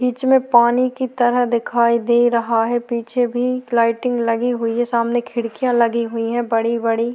बीच में पानी की तरह दिखाई दे रहा है पीछे भी लाइटिंग लगी हुई है सामने खिड़कियां लगी हुई है बड़ी-बड़ी।